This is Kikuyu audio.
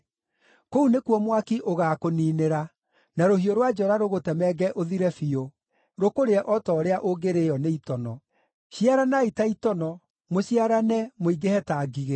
Kũu nĩkuo mwaki ũgaakũniinĩra, na rũhiũ rwa njora rũgũtemenge ũthire biũ, rũkũrĩe o ta ũrĩa ũngĩrĩĩo nĩ itono. Ciaranai ta itono, mũciarane, mũingĩhe ta ngigĩ!